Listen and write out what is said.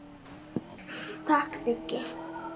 Takk Biggi.